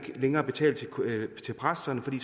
længere betale til præsterne fordi